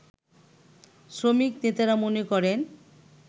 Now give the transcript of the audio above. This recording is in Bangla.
শ্রমিক নেতারা মনে করেন